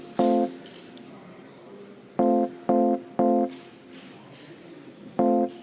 Palun võtta seisukoht ja hääletada!